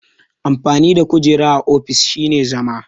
Amfanin kujera a ofis shine zama.